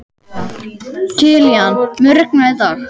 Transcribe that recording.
Kilían, mun rigna í dag?